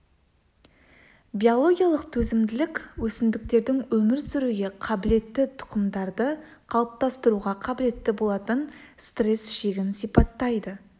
биологиялық төзімділік өсімдіктердің өмір сүруге қабілетті тұқымдарды қалыптастыруға қабілетті болатын стресс шегін сипаттайды